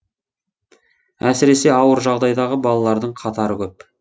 әсіресе ауыр жағдайдағы балалардың қатары көп